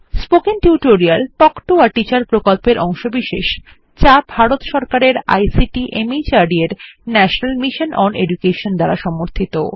spoken tutorial talk to a teacher প্রকল্পের অংশবিশেষ যা ভারত সরকারের আইসিটি মাহর্দ এর ন্যাশনাল মিশন ওন এডুকেশন দ্বারা সমর্থিত